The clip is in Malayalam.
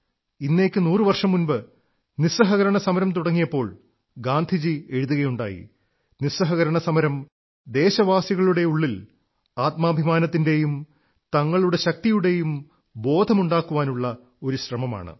ഇന്നേക്ക് നൂറു വർഷം മുമ്പ് നിസ്സഹകരണ സമരം തുടങ്ങിയപ്പോൾ ഗാന്ധിജി എഴുതുകയുണ്ടായി നിസ്സഹകരണ സമരം ദേശവാസികളുടെ ഉള്ളിൽ ആത്മാഭിമാനത്തിന്റെയും തങ്ങളുടെ ശക്തിയുടെയും ബോധമുണ്ടാക്കാനുള്ള ഒരു ശ്രമമാണ്